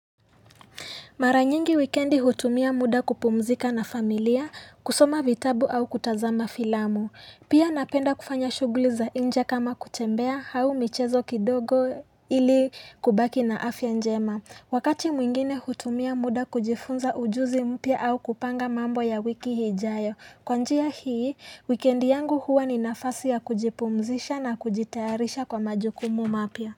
Mara nyingi wikendi hutumia muda kupumzika na familia, kusoma vitabu au kutazama filamu. Pia napenda kufanya shughuli za nje kama kutembea, au michezo kidogo ili kubaki na afya njema. Wakati mwingine hutumia muda kujifunza ujuzi mpya au kupanga mambo ya wiki ijayo. Kwa njia hii, wikendi yangu huwa ni nafasi ya kujipumzisha na kujitayarisha kwa majukumu mapya.